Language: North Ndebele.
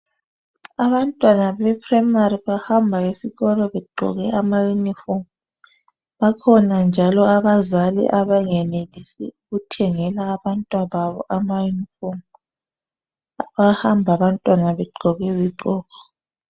Abantwana be Primary bahamba esikolo begqoke ama uniform . Bakhona njalo abazali abangenelisi ukuthengela abantwa babo ama uniform . Bayahamba abantwana begqoke izigqoko .